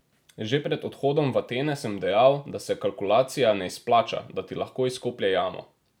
Že pred odhodom v Atene sem dejal, da se kalkulacija ne izplača, da ti lahko izkoplje jamo.